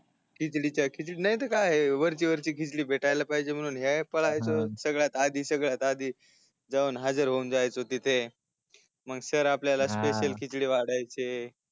खिचडीच्या खिचडी नाही तर काय वरची वरची खिचडी भेटायला पाहिजे म्हणून हे पळायचो सगळ्यात आधी सगळ्यात आधी जाऊन हाजीर होऊन जायचो मग सर आपल्याला स्पेकिअल खिचडी वाढायचे